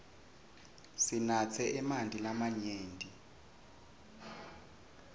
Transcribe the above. sinatse emanti lamanyenti